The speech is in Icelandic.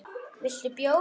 Viltu bjór?